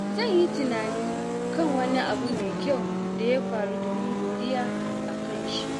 Zan yi tunani kan wani abu mai kyau da ya faru domin godiya a kan shi.